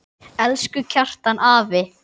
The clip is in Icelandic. Elsku Kjartan afi.